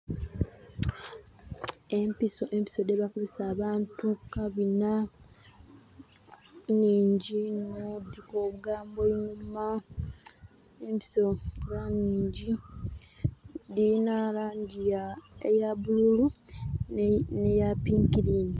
Empiso empiso dhebakubisa abaantu kukabina nnhingi inho dhiriku olugambo looma empiso nga nnhingi dhirina langi ya eya bbululu neyapinkirini.